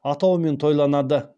атауымен тойланады